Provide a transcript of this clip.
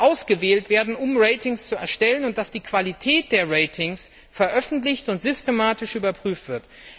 ausgewählt werden, um Ratings zu erstellen, und dass die Qualität der Ratings veröffentlicht und systematisch überprüft wird.